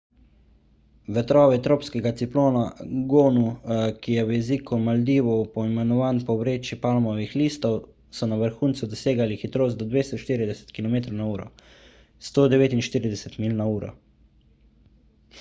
vetrovi tropskega ciklona gonu ki je v jeziku maldivov poimenovan po vreči palmovih listov so na vrhuncu dosegali hitrost do 240 kilometrov na uro 149 milj na uro